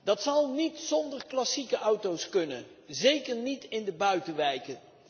Dat zal niet zonder klassieke auto's kunnen, zeker niet in de buitenwijken.